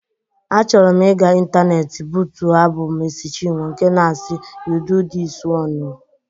A chọrọm iga intaneeti bụtuo abụ Mercy Chinwo nke na-asi "You do this one o".